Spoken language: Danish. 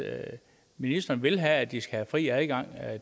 ministeren vil have at de skal have fri adgang